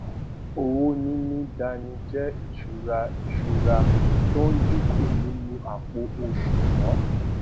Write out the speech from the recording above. owó níní dání jé ìsúra ìsúra tó n dínkù nínú àpò òsùwòn